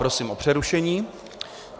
Prosím o přerušení.